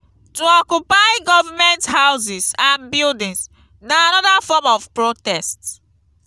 to occupy government houses and buildings na another form of protest